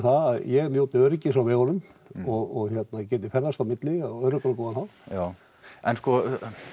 að ég njóti öryggis á vegunum og hérna geti ferðast á milli á öruggan hátt já en sko